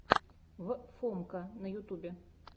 в фомка на ютюбе